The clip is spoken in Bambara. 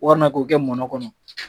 Walima k'o kɛ mɔnɔ kɔnɔ